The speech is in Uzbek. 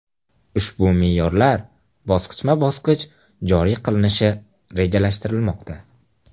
Ushbu me’yorlar bosqichma-bosqich joriy qilinishi rejalashtirilmoqda.